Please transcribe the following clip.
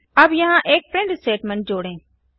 अब यहाँ एक प्रिंट स्टेटमेंट जोड़ें